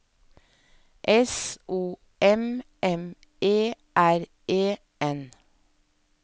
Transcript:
S O M M E R E N